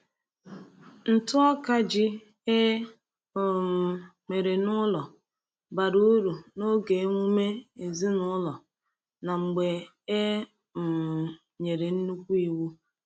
Ntụ ọka ji e um mere n’ụlọ bara uru n’oge emume ezinụlọ na mgbe e um nyere nnukwu iwu.